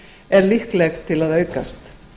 er líkleg til að aukast